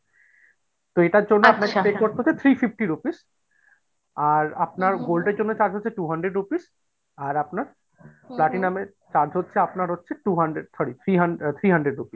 তো এইটার জন্য আপনাকে pay করতে হবে three fifty rupees আর আপনার gold এর জন্য charge হচ্ছে two hundred rupees আর আপনার platinum এর দাম হচ্ছে আপনার হচ্ছে two hundred sorry three hundred three hundred rupees।